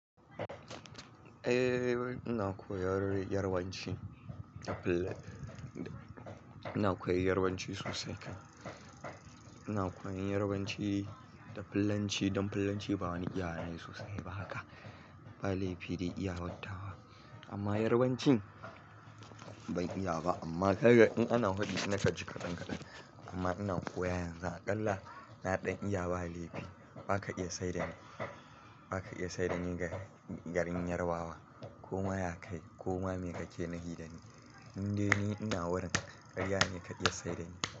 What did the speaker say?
Eh, ina koyar Yarbanci da Fulani. Ina koyan Yarbanci sosai kam. Ina koyan Yarbanci da Fulanci, don Fulanci ba wani iyawa ne sosai ba haka, ba laifi dai iyawar tawa. Amma Yarbanci ban iya ba amma gar in ana haɗi na kanji ka ɗan ka ɗan. Amma ina koyon yanzu aƙalla na ɗan iya ba laifi. Ba ka iya saida ni, ba ka iya saida ni ga garin Yarbawa. Koma ya kai koma me ka ke nufi da ni. Tun dai ni ina wurin karya ne ka iya saida ni.